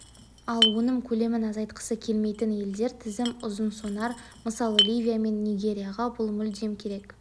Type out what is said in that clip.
ал өнім көлемін азайтқысы келмейтін елдер тізімі ұзынсонар мысалы ливия мен нигерияға бұл мүлдем керек